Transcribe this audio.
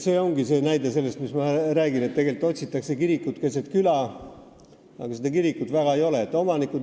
See ongi see näide sellest, mis ma räägin, et otsitakse kirikut keset küla, aga tegelikult seda kirikut väga ei ole.